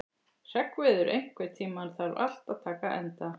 Hreggviður, einhvern tímann þarf allt að taka enda.